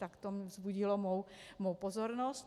Tak to vzbudilo mou pozornost.